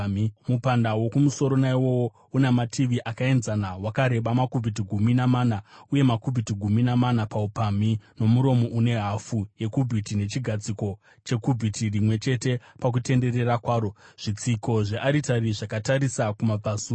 Mupanda wokumusoro naiwowo una mativi akaenzana, wakareba makubhiti gumi namana uye makubhiti gumi namana paupamhi, nomuromo une hafu yekubhiti nechigadziko chekubhiti rimwe chete pakutenderera kwaro. Zvitsiko zvearitari zvakatarisa kumabvazuva.”